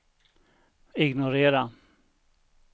ignorera